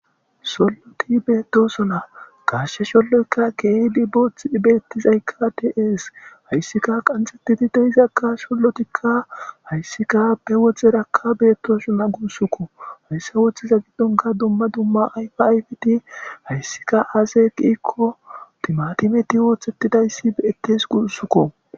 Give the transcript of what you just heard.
solloti beettosona qashshe sholloykka keedi boothth bettizay ka tees hayssika qanxettidi dehizakka sollotikka hayssika be woxhxerakka beettosona guussukko hayssa wothiza giddonka dumma dumma ayfiifiti hayssika aase qiikko timatimeti woothettidayssi ettes guussukko